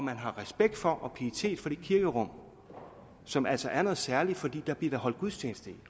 man har respekt for og pietet for det kirkerum som altså er noget særligt fordi der bliver holdt gudstjeneste i